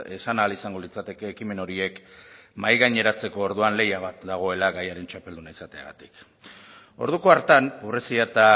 esan ahal izango litzateke ekimen horiek mahaigaineratzeko orduan lehia bat dagoela gaiaren txapelduna izateagatik orduko hartan pobrezia eta